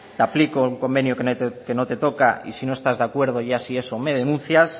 te aplico un convenio que no te toca y si no estás de acuerdo ya si eso me denuncias